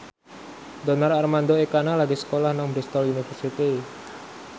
Donar Armando Ekana lagi sekolah nang Bristol university